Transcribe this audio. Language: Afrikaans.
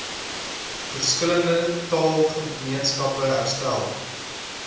verskillende taalgemeenskappe herstel